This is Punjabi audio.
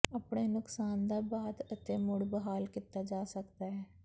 ਆਪਣੇ ਨੁਕਸਾਨ ਦਾ ਬਾਅਦ ਅਤੇ ਮੁੜ ਬਹਾਲ ਕੀਤਾ ਜਾ ਸਕਦਾ ਹੈ